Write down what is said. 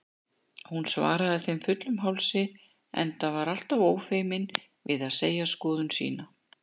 Hún svaraði þeim fullum hálsi, enda alltaf ófeimin við að segja skoðun sína.